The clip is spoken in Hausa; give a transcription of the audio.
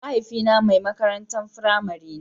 Mahaifina ne mai makarantar firamare.